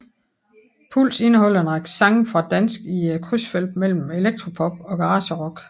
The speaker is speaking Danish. Puls indeholder en række sange på dansk i krydsfeltet mellem elektropop og garagerock